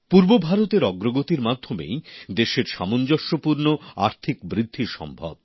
পূর্ব ভারতের অগ্রগতির মাধ্যমেই দেশের সামঞ্জস্যপূর্ণ আর্থিক বৃদ্ধি সম্ভব